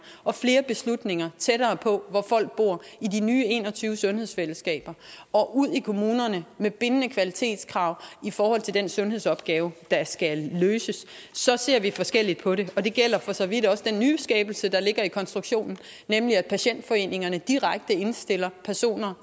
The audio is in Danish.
og flere beslutninger tættere på hvor folk bor altså i de nye en og tyve sundhedsfællesskaber og ud i kommunerne med bindende kvalitetskrav i forhold til den sundhedsopgave der skal løses så ser vi forskelligt på det og det gælder for så vidt også den nyskabelse der ligger i konstruktionen nemlig at patientforeningerne direkte indstiller personer